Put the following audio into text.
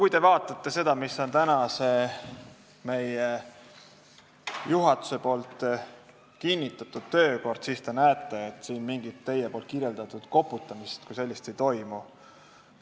Kui te vaatate meie juhatuse kinnitatud töökorda, siis te näete, et siin mingit teie kirjeldatud koputamist kui sellist ei toimu.